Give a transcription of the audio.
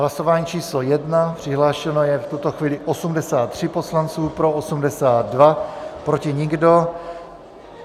Hlasování číslo 1, přihlášeno je v tuto chvíli 83 poslanců, pro 82, proti nikdo.